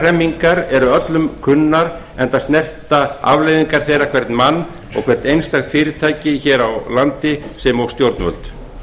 hremmingar eru öllum kunnar enda snerta afleiðingar þeirra hvern mann og hvert einstakt fyrirtæki hér á landi sem og stjórnvöld